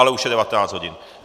Ale už je 19. hodin.